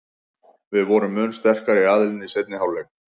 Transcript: Við vorum mun sterkari aðilinn í seinni hálfleik.